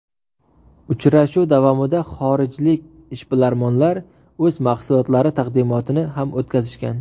Uchrashuv davomida xorijlik ishbilarmonlar o‘z mahsulotlari taqdimotini ham o‘tkazishgan.